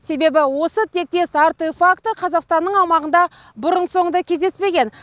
себебі осы тектес артефакті қазақстанның аумағында бұрын соңды кездеспеген